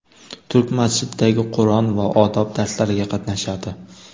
Turk masjididagi Qur’on va odob darslariga qatnashadi.